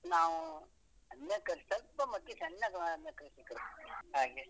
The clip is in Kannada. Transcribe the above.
ನಾವು ಅಲ್ಲಾ ಸ್ವಲ್ಪ ಮಟ್ಟಿಗೆ ಸಣ್ಣ ಪ್ರಮಾಣದ ಕೃಷಿಕರು ಹಾಗೆ.